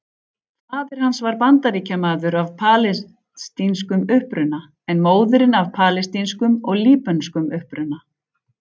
Faðir hans var Bandaríkjamaður af palestínskum uppruna en móðirin af palestínskum og líbönskum uppruna.